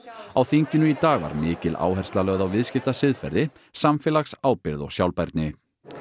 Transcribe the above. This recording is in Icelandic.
á þinginu í dag var mikil áhersla lögð á viðskiptasiðferði samfélagsábyrgð og sjálfbærni